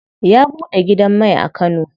Ya buɗe gidan mai a kano.